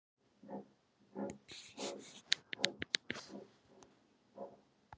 Draumey, hækkaðu í græjunum.